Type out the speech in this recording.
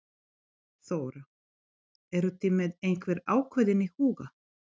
Þóra: Eruð þið með einhvern ákveðinn í huga?